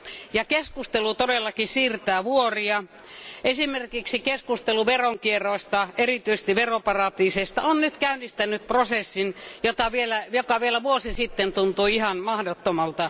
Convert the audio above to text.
Ja keskustelu todellakin siirtää vuoria esimerkiksi keskustelu veronkierroista, erityisesti veroparatiiseista, on nyt käynnistänyt prosessin, joka vielä vuosi sitten tuntui ihan mahdottomalta.